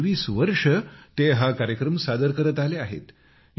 गेली तेवीस वर्षे ते हा कार्यक्रम सादर करत आले आहेत